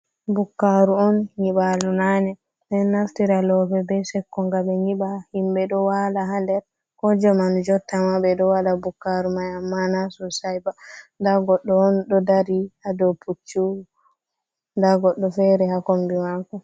Bukaru on nyiɓalu nane bedon naftira loope be sekko gam be nyiɓa, himbe do wala hader kojamanu jotta ma be do wada bukaru mai amma nasosai ba dagodɗo on do dari hado puccu da goddo fere ha kombi mako.